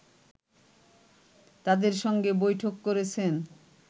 তাদের সঙ্গে বৈঠক করেছেন